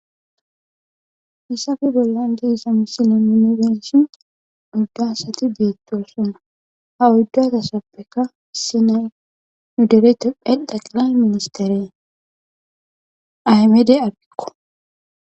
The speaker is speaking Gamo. Hesappe bollan diza misileza nun be'ishn 4 asat betosona, ha 4 asatppeka issinay dere tophiya xeqilay misistere ahimede abiyko.